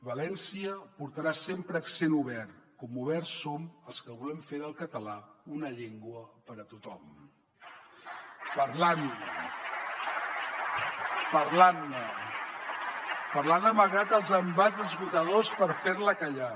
valència portarà sempre accent obert com oberts som els que volem fer del català una llengua per a tothom parlant parlant ne parlant la malgrat els embats esgotadors per fer la callar